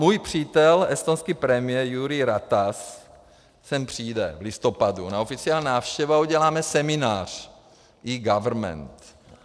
Můj přítel estonský premiér Jüri Ratas sem přijde v listopadu na oficiální návštěvu a uděláme seminář eGovernment.